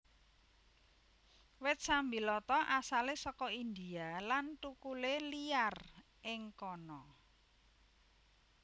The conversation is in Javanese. Wit sambiloto asalé saka India lan thukulé liyar ing kana